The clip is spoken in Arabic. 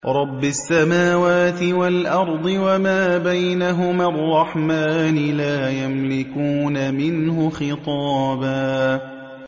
رَّبِّ السَّمَاوَاتِ وَالْأَرْضِ وَمَا بَيْنَهُمَا الرَّحْمَٰنِ ۖ لَا يَمْلِكُونَ مِنْهُ خِطَابًا